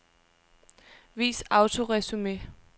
Vis autoresumé.